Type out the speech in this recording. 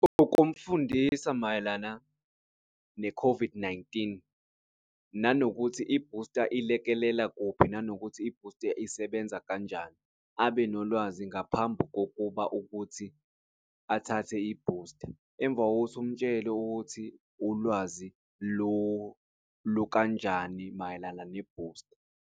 Ukumfundisa mayelana ne-COVID-19 nanokuthi i-booster ilekelela kuphi nanokuthi i-booster isebenza kanjani abe nolwazi ngaphambi kokuba ukuthi athathe i-booster emva kokuthi umutshele ukuthi ulwazi lukanjani mayelana ne-booster.